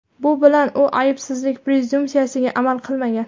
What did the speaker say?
Bu bilan u aybsizlik prezumpsiyasiga amal qilmagan.